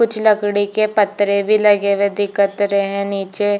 कुछ लकड़ी के पतरे भी लगे हुए दिखत रहे है नीचे--